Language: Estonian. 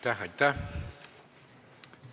Aitäh-aitäh!